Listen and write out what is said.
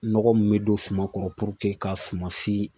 Nɔgɔ mun bɛ don suma kɔrɔ ka suma si